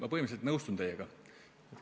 Ma põhimõtteliselt nõustun teiega.